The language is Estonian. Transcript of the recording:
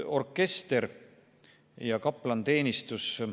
Orkester ja kaplaniteenistus.